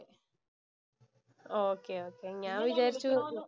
okay, okay ഞാന്‍ വിചാരിച്ചു